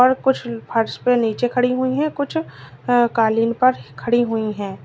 और कुछ फर्श पे नीचे खड़ी हुई है कुछ कालीन पर खड़ी हुई है।